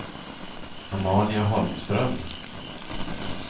Amalia Holmström